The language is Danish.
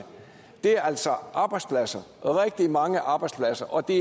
det er altså arbejdspladser rigtig mange arbejdspladser og det